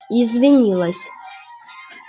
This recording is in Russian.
извинилась